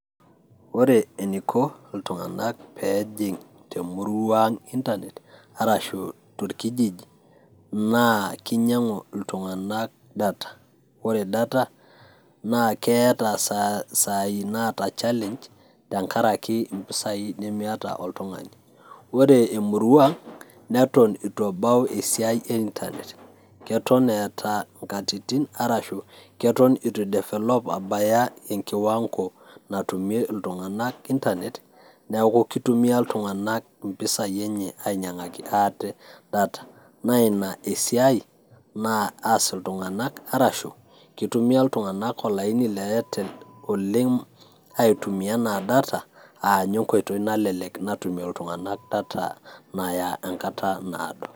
ore eniko iltung'anak pejing temurua ang internet arashu torkijiji naa kinyiang'u iltung'anak data ore data naa keeta isai naata challenge tenkarake impisai nemiata oltung'ani ore emurua neton itu ebau esiai e internet keton eeta inkatitin arashu keton itu idefelop abaya en kiwango natumie iltung'anak internet neku kitumia iltung'anak impisai enye ainyiang'aki ate data naa ina esiai naas iltung'anak arashu kitumia iltung'anak olaini le airtel oleng aitumia enaa data aninye enkoitoi nalelek natumie iltung'anak data naya enkata naado.